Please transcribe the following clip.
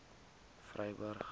vryburg